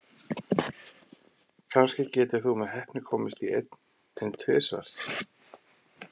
Kannski getur þú með heppni komist í einn, en tvisvar?